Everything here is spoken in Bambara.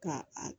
Ka a